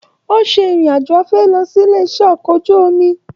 O ṣe ìrìn àjò afẹ́ lọ sílé iṣẹ okọ̀ ojú omi.